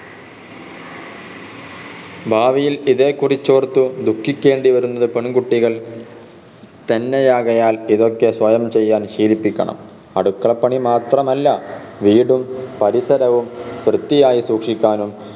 ഭാവിയിൽ ഇതേക്കുറിച്ച് ഓർത്തു ദുഖിക്കേണ്ടി വരുന്നത് പെൺകുട്ടികൾ തന്നെയാകയാൽ ഇതൊക്കെ സ്വയം ചെയ്യാൻ ശീലിപ്പിക്കണം അടുക്കളപ്പണി മാത്രമല്ല വീടും പരിസരവും വൃത്തിയായ് സൂക്ഷിക്കാനും